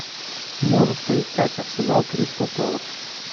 можешь поискать арсенал кристал пэлас